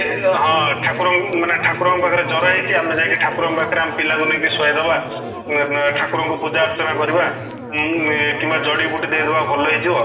ଇୟେ ହଁ ଠାକୁର ଙ୍କୁ ମାନେ ଠାକୁରଙ୍କ ପାଖରେ ଜର ହେଇଛି ଆମେ ଯାଇକି ଠାକୁରଙ୍କ ପାଖ ରେ ଆମ ପିଲା କୁ ନେଇକି ଶୁଆଇଦେବା ଉମ ଠାକୁରଙ୍କୁ ପୂଜା ଅର୍ଚ୍ଚନା କରିବା ଉମ କିମ୍ବା ଜଡିବୁଟି ଦେଇଦେବା ଭଲ ହେଇଯିବ